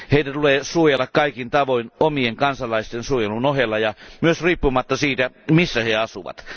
Heitä tulee suojella kaikin tavoin omien kansalaisten suojelun ohella ja myös riippumatta siitä, missä he asuvat.